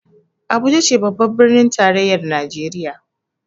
Abuja ce babbar birnin tarayyar Najeriya